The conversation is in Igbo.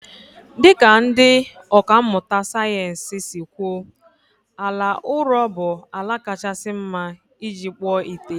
Dị ka ndị ọkà mmụta sayensị si kwuo, ala ụrọ bụ ala kachasị mma iji kpụọ ite